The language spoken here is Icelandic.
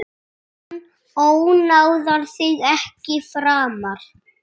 Hann ónáðar þig ekki framar.